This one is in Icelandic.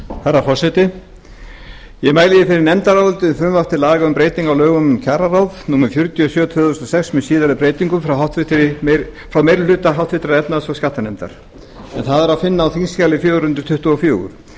herra forseti ég mæli fyrir nefndaráliti við frumvarp til laga um breytingu á lögum um kjararáð númer fjörutíu og sjö tvö þúsund og sex með síðari breytingum frá meiri hluta háttvirtrar efnahags og skattanefndar en það er að finna á þingskjali fjögur hundruð tuttugu og fjögur